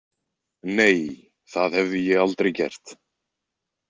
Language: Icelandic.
Nei, það hefði ég aldrei gert.